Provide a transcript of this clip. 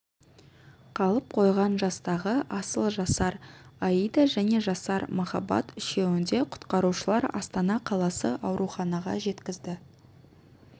қалып қойған жастағы асыл жасар аида және жасар махаббат үшеуінде құтқарушылар астана қаласы ауруханаға жеткізді